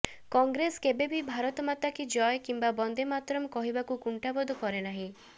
କଂଗ୍ରେସ କେବେ ବି ଭାରତ ମାତା କି ଜୟ କିମ୍ବା ବନ୍ଦେ ମାତରମ୍ କହିବାକୁ କୁଣ୍ଠାବୋଧ କରେନାହିଁ